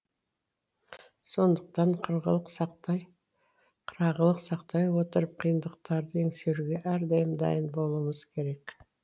сондықтан қырағылық сақтай отырып қиындықтарды еңсеруге әрдайым дайын болуымыз керек